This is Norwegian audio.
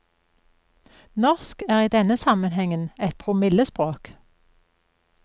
Norsk er i denne sammenhengen et promillespråk.